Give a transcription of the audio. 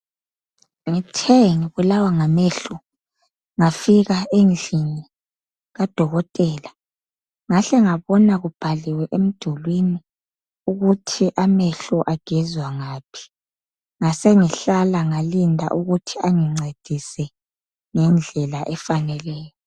Ngithe ngibulawa ngamehlo ngafika endlini kadokotela ngahle ngabona kubhaliwe emdulwini ukuthi amehlo agezwa ngaphi ngasengihlala ngalinda ukuthi bangincedise ngendlela efaneleyo.